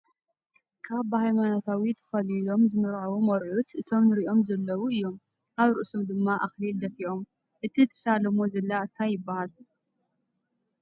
ካብ ብሃይማኖታዊ ተከሊሎም ዝምርዐዎ መርዑት እቶ እንሪኦም ዘለዉ እዮም ። ኣብ ርእሱም ድማ ኣክሊል ደፊኦም ። እቲ ትሳለሙ ዘላ እንታይ ይባሃል ?